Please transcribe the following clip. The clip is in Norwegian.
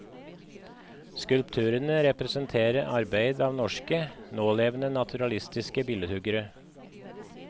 Skulpturene representerer arbeider av norske, nålevende naturalistiske billedhuggere.